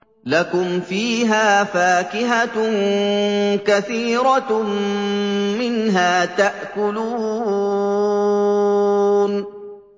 لَكُمْ فِيهَا فَاكِهَةٌ كَثِيرَةٌ مِّنْهَا تَأْكُلُونَ